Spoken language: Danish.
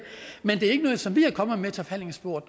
men det er ikke noget som vi er kommet med til forhandlingsbordet